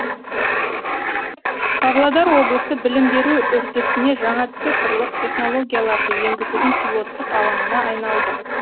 павлодар облысы білім беру үрдісіне жаңа цифрлық технологияларды енгізудің пилоттық алаңына айналды